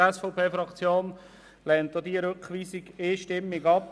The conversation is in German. Die SVP-Fraktion lehnt diese Rückweisung einstimmig ab.